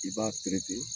I b'a